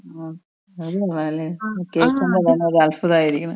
ആ അത് കൊള്ളാലെ? കേൾക്കുമ്പോ തന്നെ ഒരു അത്ഭുതായിരിക്ക്ണ്.